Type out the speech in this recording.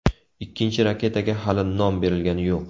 Ikkinchi raketaga hali nom berilgani yo‘q.